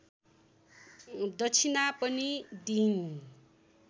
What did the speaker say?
दक्षिणा पनि दिइन्